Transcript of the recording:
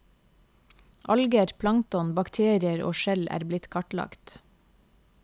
Alger, plankton, bakterier og skjell er blitt kartlagt.